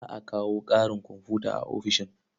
Za a kawo ƙarin komfuta a ofishin.